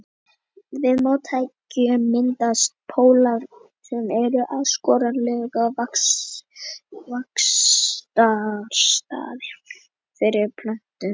Við mótekju myndast pollar sem eru ákjósanlegir vaxtarstaðir fyrir plöntuna.